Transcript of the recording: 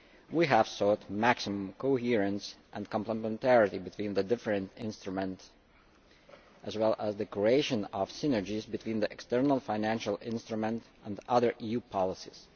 We have sought maximum coherence and complementarity between the different instruments, as well as the creation of synergies between the external financial instruments and other EU policies.